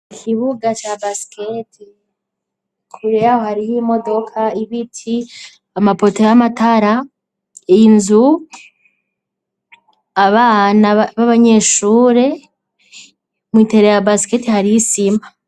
Ikibuga ca basikete ,kure hariho imodoka, ibiti ,amapoto y'amatara ,inzu abana b'abanyeshure ,mw'itere ya basikete hariy'isima.